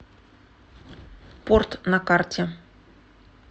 порт на карте